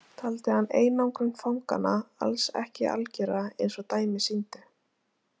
Taldi hann einangrun fanganna alls ekki algjöra eins og dæmi sýndu.